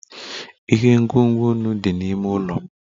Ihe ngwugwu nnu dị n'ime ụlọ m